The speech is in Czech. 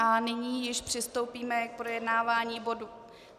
A nyní již přistoupíme k projednávání bodu...